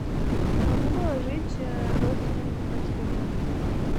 не могу положить родственнику на телефон